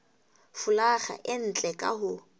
folaga e ntle ka ho